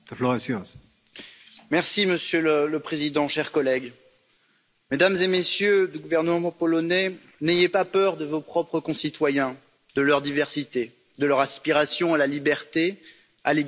Monsieur le Président, chers collègues, Mesdames et Messieurs du gouvernement polonais, n'ayez pas peur de vos propres concitoyens, de leur diversité, de leur aspiration à la liberté, à l'égalité, à la vie.